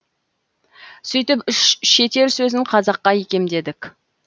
сөйтіп үш шетел сөзін қазаққа икемдедік